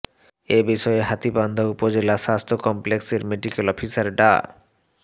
এ বিষয়ে হাতীবান্ধা উপজেলা স্বাস্থ্য কমপ্লেক্সের মেডিকেল অফিসার ডা